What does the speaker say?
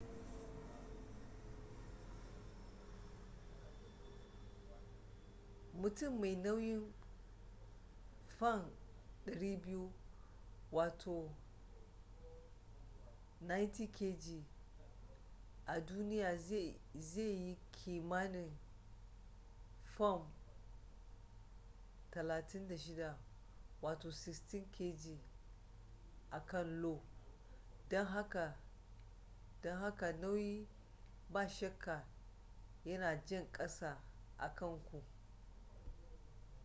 mutum mai nauyin fam 200 90kg a duniya zai yi kimanin fam 36 16kg a kan io. don haka nauyi ba shakka yana jan ƙasa akan ku